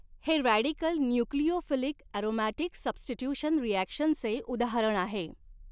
हे radical nucleophilic aromatic substitution reaction चे उदाहरण आहे.